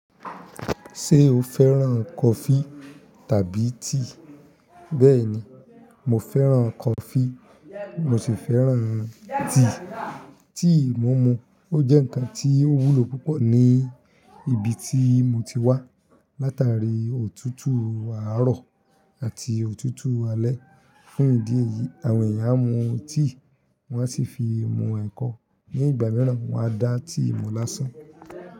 Ṣé o fẹ́ràn kọfí tàbí tíì? Bẹ́ẹ̀ni, mo fẹ́ràn kọfí mo sì fẹ́ràn tíì, tíì mo mu ó jẹ́ ǹkan tí ó wúlò púpọ̀ ni ibi tí mo ti wá. Látàrí òtútù àárọ̀ àti òtútù alẹ́ fún ìdí èyí àwọn èèyàn mu tíì, wọ́n á sì fi mu ẹ̀kọ. Ní ìgbà mìíràn wọ́n á dá tíì mọ́ lásán.